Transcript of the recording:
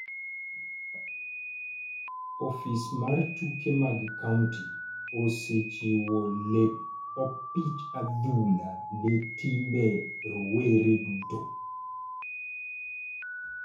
Ofis mar tuke mag kaunti osechiwo lep opich adhula ne timbe rowere duto.